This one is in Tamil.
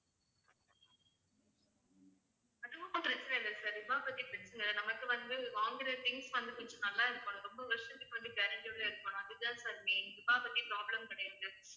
அது ஓண்ணும் பிரச்சனை இல்ல sir ரூபாவ பத்தி பிரச்சனை இல்லை நமக்கு வந்து வாங்குற things வந்து கொஞ்சம் நல்லா இருக்கணும் ரொம்ப வருஷத்துக்கு வந்து guarantee யோட இருக்கணும் அது தான் sir main ரூபாவ பத்தி problem கிடையாது